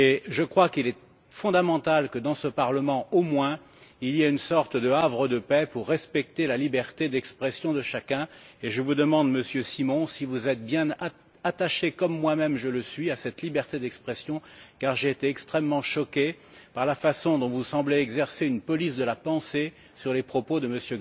Je crois qu'il est fondamental que, dans ce parlement au moins, il existe une sorte de havre de paix favorisant le respect de la liberté d'expression de chacun et je vous demande, Monsieur Simon, si vous êtes bien, comme moi même je le suis, attaché à cette liberté d'expression, car j'ai été extrêmement choqué par la façon dont vous semblez exercer une police de la pensée sur les propos de M.